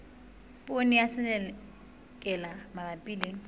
poone ya selelekela mabapi le